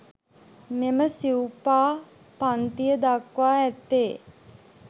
මෙම සිවුපා පංතිය දක්වා ඇත්තේ